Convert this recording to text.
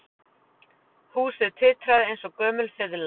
Húsið titraði eins og gömul fiðla